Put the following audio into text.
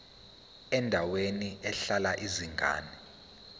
endaweni ehlala izingane